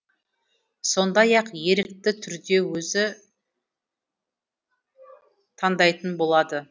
сондай ақ ерікті түрде өзі таңдайтын болады